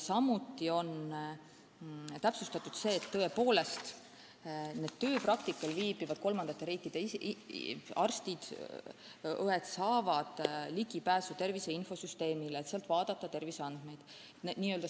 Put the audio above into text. Samuti on täpsustatud, et tööpraktikal olevad kolmandate riikide arstid ja õed saavad ligipääsu tervise infosüsteemile, et sealt terviseandmeid vaadata.